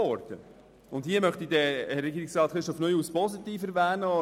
Ich möchte an dieser Stelle Regierungsrat Neuhaus positiv erwähnen.